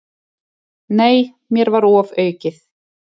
Nei, mér var ofaukið.